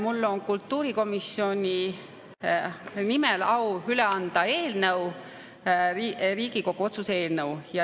Mul on au kultuurikomisjoni nimel üle anda Riigikogu otsuse eelnõu.